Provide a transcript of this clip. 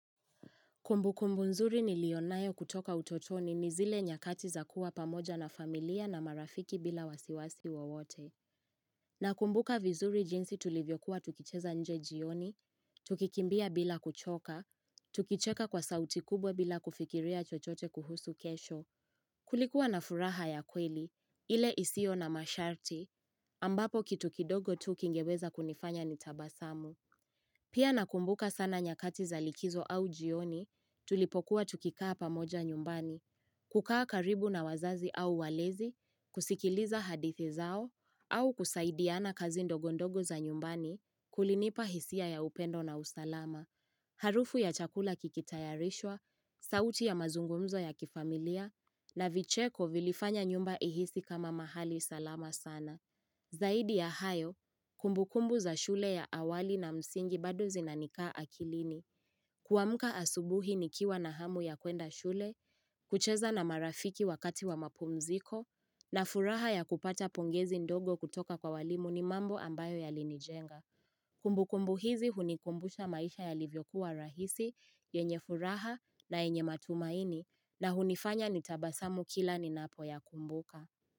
Kumbukumbu nzuri nilio nayo kutoka utotoni ni zile nyakati za kuwa pamoja na familia na marafiki bila wasiwasi wawote. Nakumbuka vizuri jinsi tulivyokuwa tukicheza nje jioni, tukikimbia bila kuchoka, tukicheka kwa sauti kubwa bila kufikiria chochote kuhusu kesho. Kulikuwa na furaha ya kweli, ile isiyo na masharti, ambapo kitu kidogo tu kingeweza kunifanya nitabasamu. Pia nakumbuka sana nyakati za likizo au jioni tulipokuwa tukikaa pamoja nyumbani, kukaa karibu na wazazi au walezi, kusikiliza hadithi zao, au kusaidiana kazi ndogo ndogo za nyumbani kulinipa hisia ya upendo na usalama, harufu ya chakula kikitayarishwa, sauti ya mazungumzo ya kifamilia, na vicheko vilifanya nyumba ihisi kama mahali salama sana. Zaidi ya hayo, kumbukumbu za shule ya awali na msingi bado zinanikaa akilini Kuamka asubuhi nikiwa na hamu ya kwenda shule, kucheza na marafiki wakati wa mapumziko na furaha ya kupata pongezi ndogo kutoka kwa walimu ni mambo ambayo yalinijenga Kumbukumbu hizi hunikumbusha maisha yalivyokuwa rahisi, yenye furaha na yenye matumaini na hunifanya nitabasamu kila ninapoyakumbuka.